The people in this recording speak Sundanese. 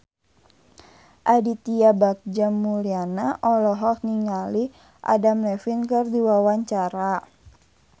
Aditya Bagja Mulyana olohok ningali Adam Levine keur diwawancara